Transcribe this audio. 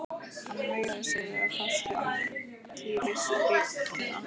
Hann veigraði sér við að fást við altarisbríkina.